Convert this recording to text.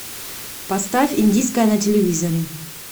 поставь индийское на телевизоре